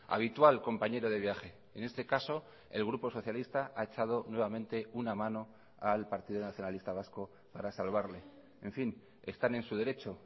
habitual compañero de viaje en este caso el grupo socialista ha echado nuevamente una mano al partido nacionalista vasco para salvarle en fin están en su derecho